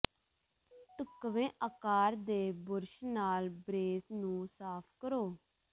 ਢੁਕਵੇਂ ਆਕਾਰ ਦੇ ਬੁਰਸ਼ ਨਾਲ ਬ੍ਰੇਸ ਨੂੰ ਸਾਫ਼ ਕਰੋ